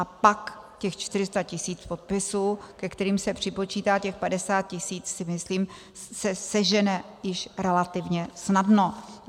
A pak těch 400 tisíc podpisů, ke kterým se připočítá těch 50 tisíc, si myslím, se sežene již relativně snadno.